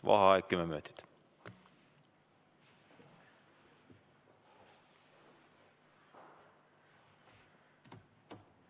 Vaheaeg kümme minutit.